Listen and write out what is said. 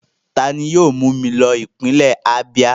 Ta ni yóò mú mi lọ ipinle Abíà?